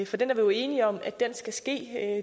for den er vi jo enige om skal ske det er